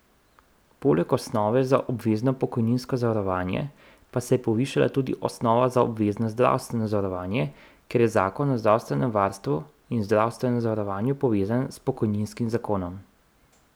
Poleg osnove za obvezno pokojninsko zavarovanje pa se je povišala tudi osnova za obvezno zdravstveno zavarovanje, ker je zakon o zdravstvenem varstvu in zdravstvenem zavarovanju povezan s pokojninskim zakonom.